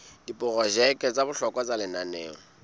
diprojeke tsa bohlokwa tsa lenaneo